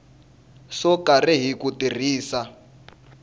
swo karhi hi ku tirhisa